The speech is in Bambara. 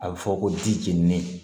A bɛ fɔ ko dimi